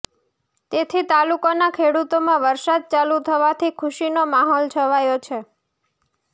તેથી તાલુકાના ખેડુતોમા વરસાદ ચાલુ થવાથી ખુશીનો માહોલ છવાયો છે